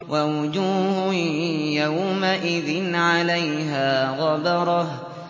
وَوُجُوهٌ يَوْمَئِذٍ عَلَيْهَا غَبَرَةٌ